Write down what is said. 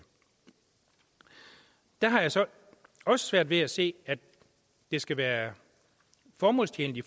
der har jeg så også svært ved at se at det skal være formålstjenligt i